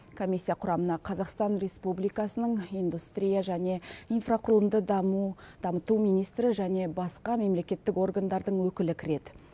комиссия құрамына қазақстан республикасының индустрия және инфрақұрылымды даму дамыту министрі және басқа мемлекеттік органдардың өкілі кіреді